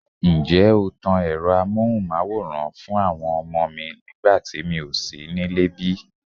Ǹjẹ́ o tan Ẹ̀rọ amohunmaworan fún àwọn ọmọ mi nígbà tí mi ò sí nílé bí?